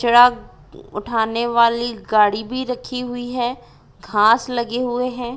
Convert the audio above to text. उठाने वाली गाड़ी भी रखी हुई है घास लगे हुए है।